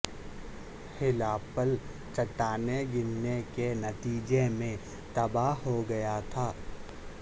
ہلا پل چٹانیں گرنے کے نتیجے میں تباہ ہو گیا تھا